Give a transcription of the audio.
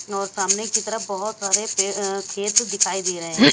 और सामने की तरफ बहुत सारे पे अह खेत दिखाई दे रहे हैं।